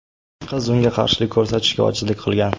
Qiz unga qarshilik ko‘rsatishga ojizlik qilgan.